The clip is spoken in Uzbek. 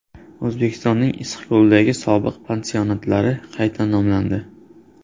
O‘zbekistonning Issiqko‘ldagi sobiq pansionatlari qayta nomlandi.